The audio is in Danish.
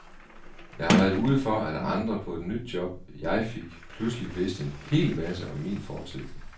Jeg har været ude for, at andre på et nyt job, jeg fik, pludselig vidste en hel masse om min fortid.